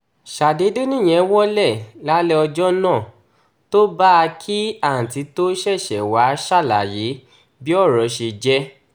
ṣàdédé nìyẹn wọ́lẹ̀ lálẹ́ ọjọ́ náà tó bá a kí àǹtí tóo ṣẹ̀ṣẹ̀ wáá ṣàlàyé bí ọ̀rọ̀ ṣe jẹ́